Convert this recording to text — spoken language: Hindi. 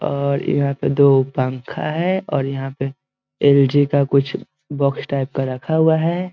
और यहाँ पे दो पंखा हैं और यहाँ पे एल.जी. का कुछ बॉक्स टाइप का रखा हुआ है ।